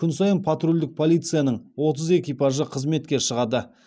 күн сайын патрульдік полицияның отыз экипажы қызметке шығады